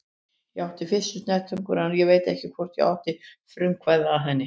Ég átti fyrstu snertinguna en ég veit ekki hvort ég átti frumkvæðið að henni.